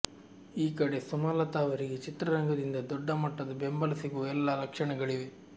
ಈ ಕಡೆ ಸುಮಲತಾ ಅವರಿಗೆ ಚಿತ್ರರಂಗದಿಂದ ದೊಡ್ಡ ಮಟ್ಟದ ಬೆಂಬಲ ಸಿಗುವ ಎಲ್ಲ ಲಕ್ಷಣಗಳಿವೆ